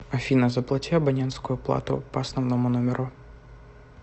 афина заплати абонентскую плату по основному номеру